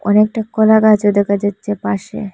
অনেকটা কলাগাছও দেখা যাচ্ছে পাশে।